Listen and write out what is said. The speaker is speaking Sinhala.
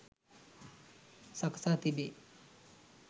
සකසා තිබේ.